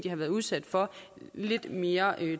har været udsat for lidt mere